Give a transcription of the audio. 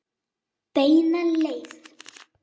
Beina leið.